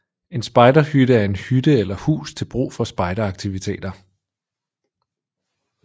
En spejderhytte er en hytte eller hus til brug for spejderaktiviteter